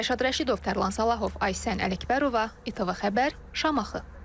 Rəşad Rəşidov, Tərlan Salahov, Aysən Ələkbərova, ITV Xəbər, Şamaxı.